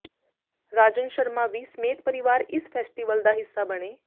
ਰਾਜਨ ਸ਼ਰਮਾ ਵੀ ਸਮੇਤ ਪਰਿਵਾਰ ਇਸ ਫੈਸਟੀਵਲ ਦਾ ਹਿੱਸਾ ਬਣੇ